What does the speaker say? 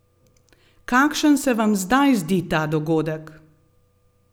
Kakšen se vam zdaj zdi ta dogodek?